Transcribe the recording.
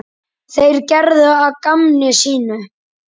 Þeir gerðu að gamni sínu.